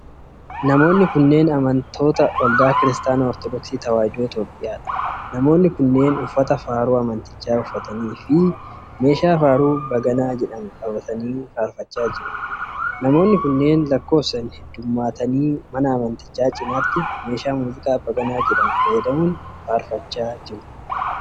Namoonni kunneen amantoota waldaa Kiristaanaa Ortodooksii Tawaahidoo Itoophiyaa dha. Namoonni kunneen uffata faaruu amantichaa uffatanii fi meeshaa faaruu baganaa jedhamu qabatanii faarfachaa jiru. Namoonni kunneen lakkoofsan hedduummattanii mana amantichaa cinaatti meeshaa muuziqaa baganaa jedhamu fayyadamuun faarfachaa jiru.